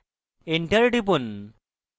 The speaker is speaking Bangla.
enter টিপুন